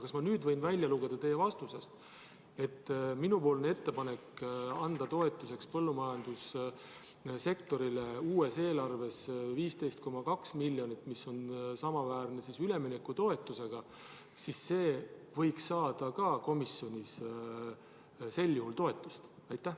Kas ma nüüd võin teie vastusest välja lugeda seda, et minu ettepanek anda uue eelarvega põllumajandussektori toetuseks 15,2 miljonit, mis on samaväärne üleminekutoetusega, võiks saada ka komisjonis sel juhul toetust?